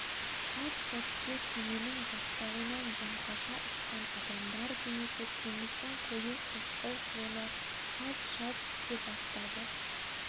әп сәтте кеменің жақтауынан жаңқаша ұшқан адамдар денесі теңіздің қою-қошқыл суына шалп-шалп түсе бастады